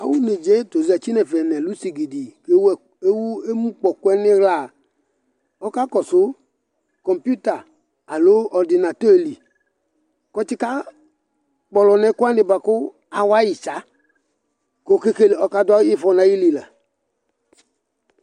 Awʊ nedzayɛ zatɩ nʊ ɛluvsigidi ewʊ emukpɔkʊɛ nʊ ixla ɔkakɔsʊ ɛkʊ kpɔɩblɩ kɔka kpɔlɔ nʊ ɛkʊwanɩ kʊ awayɩ tsa kʊ ɔkadʊ ɩfɔ nʊ ayɩlu la